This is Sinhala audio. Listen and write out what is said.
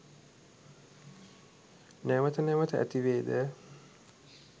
නැවත නැවත ඇතිවේද?